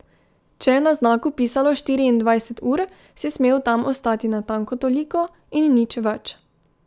Če je na znaku pisalo štiriindvajset ur, si smel tam ostati natanko toliko in nič več.